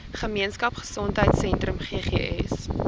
gemeenskap gesondheidsentrum ggs